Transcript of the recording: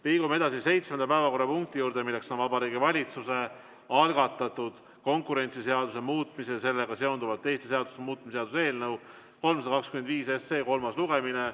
Liigume seitsmenda päevakorrapunkti juurde: Vabariigi Valitsuse algatatud konkurentsiseaduse muutmise ja sellega seonduvalt teiste seaduste muutmise seaduse eelnõu 325 kolmas lugemine.